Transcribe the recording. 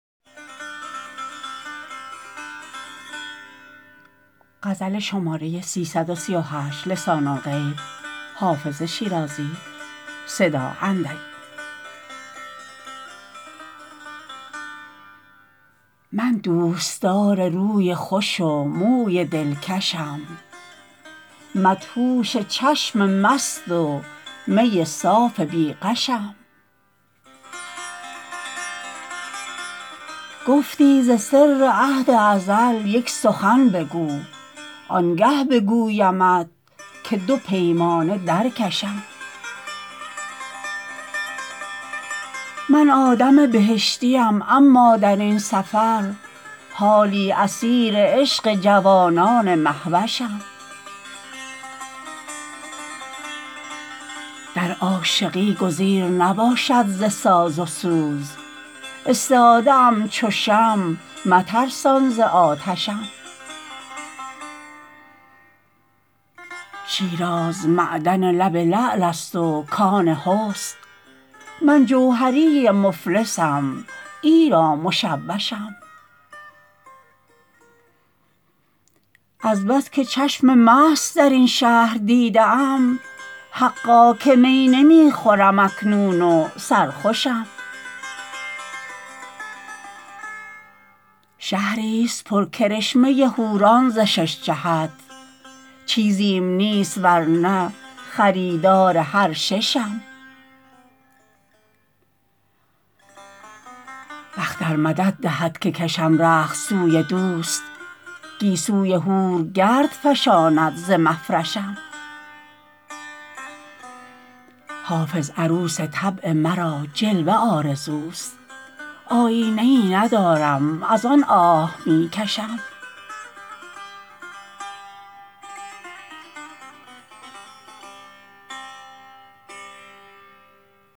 من دوستدار روی خوش و موی دلکشم مدهوش چشم مست و می صاف بی غشم گفتی ز سر عهد ازل یک سخن بگو آنگه بگویمت که دو پیمانه در کشم من آدم بهشتیم اما در این سفر حالی اسیر عشق جوانان مهوشم در عاشقی گزیر نباشد ز ساز و سوز استاده ام چو شمع مترسان ز آتشم شیراز معدن لب لعل است و کان حسن من جوهری مفلسم ایرا مشوشم از بس که چشم مست در این شهر دیده ام حقا که می نمی خورم اکنون و سرخوشم شهریست پر کرشمه حوران ز شش جهت چیزیم نیست ور نه خریدار هر ششم بخت ار مدد دهد که کشم رخت سوی دوست گیسوی حور گرد فشاند ز مفرشم حافظ عروس طبع مرا جلوه آرزوست آیینه ای ندارم از آن آه می کشم